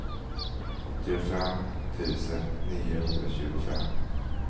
åttiofem tusen niohundratjugofem